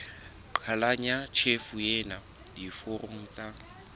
qhalanya tjhefo ena diforong tsa